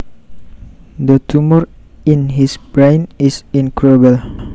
The tumor in his brain is incurable